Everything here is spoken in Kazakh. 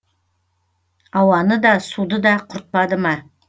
ауаны да суды да құртпады ма